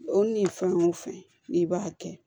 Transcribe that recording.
O ni fɛn o fɛn n'i b'a kɛ